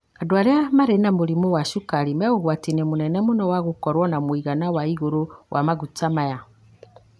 Andũ arĩa marĩ na mũrimũ wa cukari me ũgwati-inĩ mũnene mũno wa gũkorwo na mũigana wa igũrũ wa maguta maya.